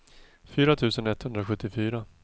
fyra tusen etthundrasjuttiofyra